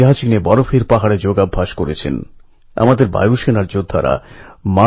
আমি এবছর দিল্লি বিশ্ববিদ্যালয়ের প্রথম বর্ষে অ্যাডমিশান নিয়েছি